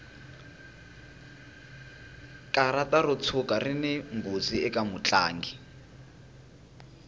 karata ro tshuka rini nghozi eka mutlangi